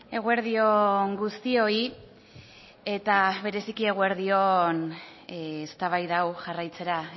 eguerdi on guztioi eta bereziki eguerdi on eztabaida hau jarraitzera